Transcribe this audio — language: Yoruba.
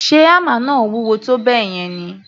Ṣe hámà náà wúwo tó bẹ́ẹ̀ yẹn ni?